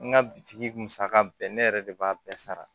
N ka bitigi musaka bɛɛ ne yɛrɛ de b'a bɛɛ sara